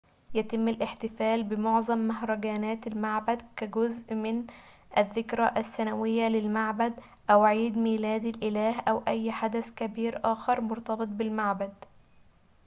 يتم الاحتفال بمعظم مهرجانات المعبد كجزء من الذكرى السنوية للمعبد أو عيد ميلاد الإله أو أي حدث كبير آخر مرتبط بالمعبد